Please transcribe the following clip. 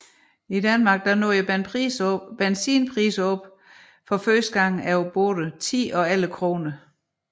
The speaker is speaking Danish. I Danmark nåede benzinpriserne for første gang over både 10 og 11 kroner